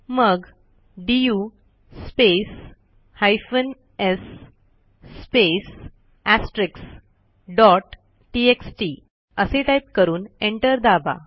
मग du space hyphen s space asterisk dot TXT असे type करून एंटर दाबा